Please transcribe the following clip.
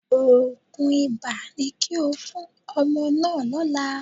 Òògùn ibà ni kí o fún ọmọ náà lọ́la.